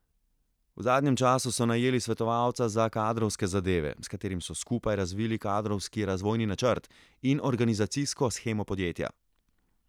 V zadnjem času so najeli svetovalca za kadrovske zadeve, s katerim so skupaj razvili kadrovski razvojni načrt in organizacijsko shemo podjetja.